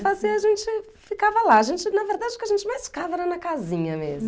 assim a gente ficava lá, a gente, na verdade, o que a gente mais ficava era na casinha mesmo.